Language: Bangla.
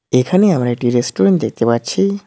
এখানে আমরা একটি রেস্টুরেন্ট দেখতে পাচ্ছি।